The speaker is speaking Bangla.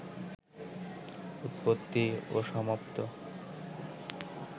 উৎপত্তি ও সমাপ্ত